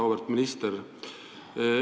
Auväärt minister!